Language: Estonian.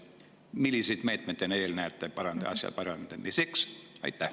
Milliseid meetmeid te veel näete asja parandamiseks?